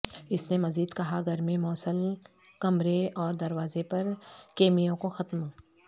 اس نے مزید کہا گرمی موصل کمرے اور دروازے پر کمیوں کو ختم